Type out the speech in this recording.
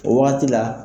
O wagati la